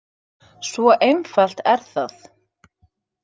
Svo einfalt er það.